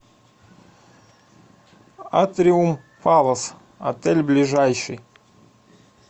атриум палас отель ближайший